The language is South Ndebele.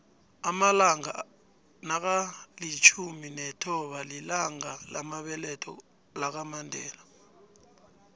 amalanga nakalitjhumi nethoba lilanga lamabeletho lakamandela